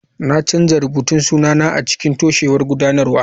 Na canza rubutun sunana a cikin toshewar gudanarwa.